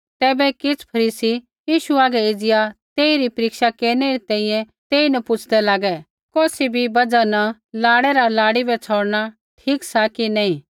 तैबै किछ़ फरीसी यीशु हागै एज़िया तेइरी परीक्षा केरनै री तैंईंयैं तेईन पुछ़दै लागै कौसी भी बजहा न लाड़ै रा लाड़ी बै छ़ौड़णा ठीक सा कि नैंई